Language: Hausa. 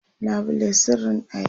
labule sirrin ɗaki